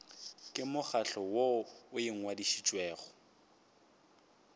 ke mokgatlo woo o ngwadišitšwego